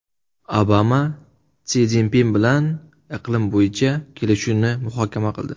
Obama Si Szinpin bilan iqlim bo‘yicha kelishuvni muhokama qildi .